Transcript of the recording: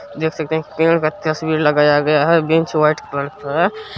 देख सकते हैं की पेड़ का तस्वीर लगाया गया है बेंच वाइट कलर का है।